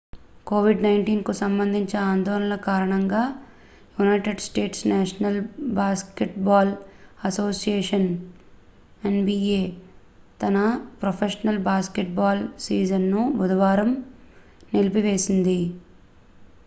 COVID-19 కు సంబంధించిన ఆందోళనల కారణంగా United States National Basketball Association NBA తన ప్రొఫెషనల్ బాస్కెట్బాల్ సీజన్ను బుధవారం నిలిపివేసింది